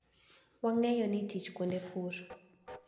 Wang`eyo ni tich kuonde pur